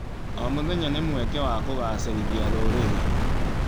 O mũthenya nĩ mweke wa kũgacĩrithia rũrĩrĩ.